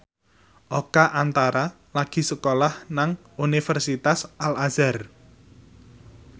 Oka Antara lagi sekolah nang Universitas Al Azhar